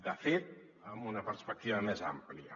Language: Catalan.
de fet amb una perspectiva més àmplia